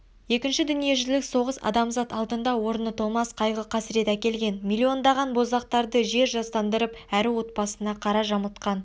екінші дүниежүзілік соғыс адамзат алдында орны толмас қайғы қасірет әкелген миллиондаған боздақты жер жастандырып әрі отбасына қара жамылтқан